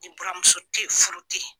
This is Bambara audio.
Ni buramuso te yen furu te yen.